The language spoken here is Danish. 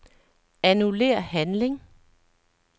Annullér handling.